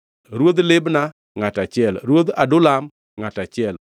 Ruodh Libna, ngʼato achiel, Ruodh Adulam, ngʼato achiel